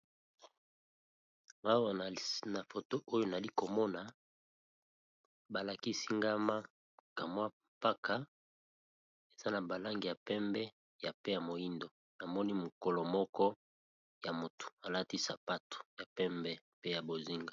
Awa na foto oyo nali komona ba lakisi nga ma ka mwa mpaka eza na ba langi ya pembe ya pe ya moyindo, namoni mokolo moko ya motu alati sapato ya pembe pe ya bozinga.